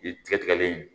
Tigɛ tigɛlen